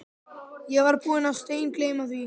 Ég var búinn að steingleyma því.